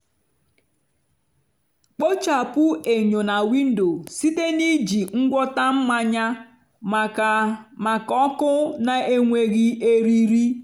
kpochapụ enyo na windo site na iji ngwọta mmanya maka maka ọkụ na-enweghị eriri.